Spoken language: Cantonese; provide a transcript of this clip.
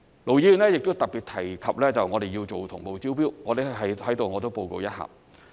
盧議員亦特別提及我們要做同步招標，我在此報告一下。